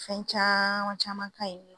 Fɛn caman caman ka ɲi.